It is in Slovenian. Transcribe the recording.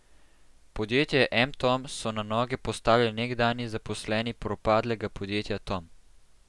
Podjetje M Tom so na noge postavili nekdanji zaposleni propadlega podjetja Tom.